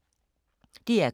DR K